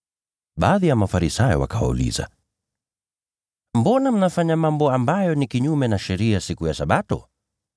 Baadhi ya Mafarisayo wakawauliza, “Mbona mnafanya mambo yasiyo halali kufanywa siku ya Sabato?”